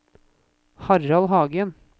Harald Hagen